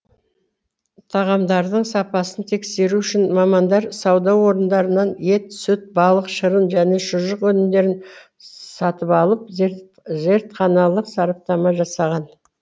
тағамдардың сапасын тексеру үшін мамандар сауда орындарынан ет сүт балық шырын және шұжық өнімдерін сатып алып зертханалық сараптама жасаған